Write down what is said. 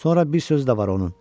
Sonra bir sözü də var onun.